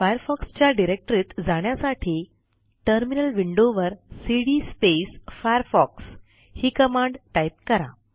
Firefoxच्या डिरेक्टरीत जाण्यासाठी टर्मिनल विंडोवर सीडी फायरफॉक्स ही कमांड टाईप करा